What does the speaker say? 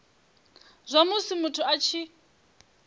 zwa musi muthu a tshi